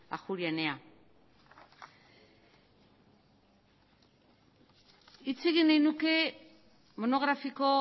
ajuria enea hitz egin nahi nuke monografiko